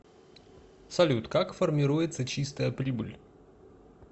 салют как формируется чистая прибыль